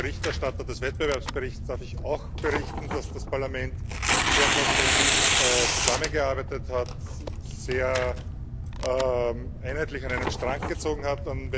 Als Berichterstatter des Wettbewerbsberichts darf ich auch berichten, dass das Parlament sehr konstruktiv zusammengearbeitet hat, sehr einheitlich an einem Strang gezogen hat.